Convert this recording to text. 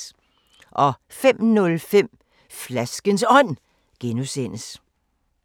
05:05: Flaskens Ånd (G)